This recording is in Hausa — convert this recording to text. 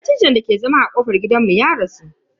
Dattijon dake zama a kofar gidanmu ya rasu.